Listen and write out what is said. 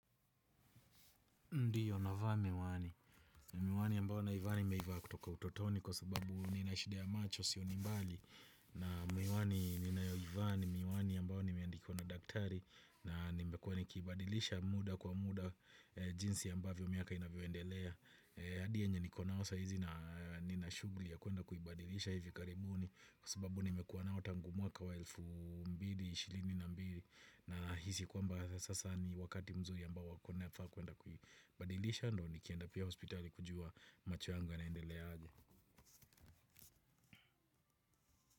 Ndiyo, navaa miwani. Miwani ambao naivaa nimeivaa kutoka utotoni kwa sababu ninashida macho sioni mbali. Na miwani ninayoivaa ni, miwani ambao nimeandikiwa na daktari na nimekuwa nikibadilisha muda kwa muda jinsi ambavyo miaka inavyoendelea. Hadi yenye niko nao saa hizi na nina shughuli ya kuenda kuibadilisha hivi karibuni kwa sababu nimekuwa nayo tangu mwaka wa elfu mbili, ishirini na mbili. Na hisi kwamba sasa ni wakati mzuri ambao wa kwenda kuibadilisha ndiyo nikienda pia hospitali kujua macho yangu yanaendelea aje.